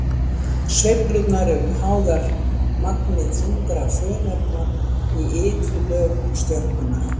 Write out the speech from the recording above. Sveiflurnar eru háðar magni þungra frumefna í ytri lögum stjörnunnar.